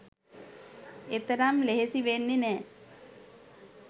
එතරම් ලෙහෙසි වෙන්නෙ නෑ